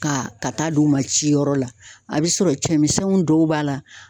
Ka ka taa d'u ma ci yɔrɔ la a be sɔrɔ cɛmisɛnninw dɔw b'a la